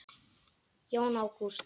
Jón Ágúst.